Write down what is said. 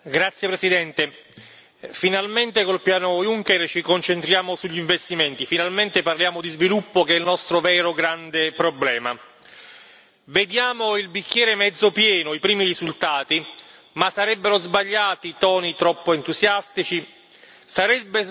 Signora Presidente, onorevoli colleghi, finalmente con il piano Juncker ci concentriamo sugli investimenti. Finalmente parliamo di sviluppo, che è il nostro vero grande problema. Vediamo il bicchiere mezzo pieno, i primi risultati, ma sarebbero sbagliati toni troppo entusiastici, sarebbe sbagliato non vedere i problemi.